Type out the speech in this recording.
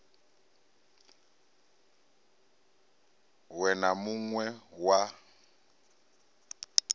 we na mun we wa